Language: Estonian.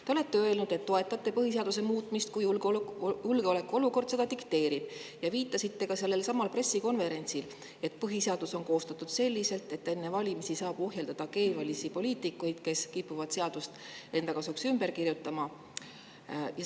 Te olete öelnud, et toetate põhiseaduse muutmist, juhul kui julgeolekuolukord seda dikteerib, ja viitasite ka sellelsamal pressikonverentsil, et põhiseadus on koostatud selliselt, et enne valimisi saaks ohjeldada keevalisi poliitikuid, kes kipuvad seadust enda kasuks ümber kirjutama.